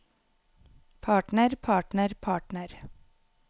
partner partner partner